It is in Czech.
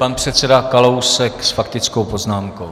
Pan předseda Kalousek s faktickou poznámkou.